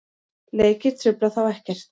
Leikir trufla þá ekkert.